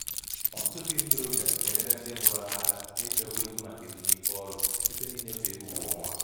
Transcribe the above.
ọtụtụ ndị ntorobịa na-enyere ndị mụrụ ha aka n’ịchekwa ego maka ezumike ọrụ site na ịnyefe ego kwa ọnwa.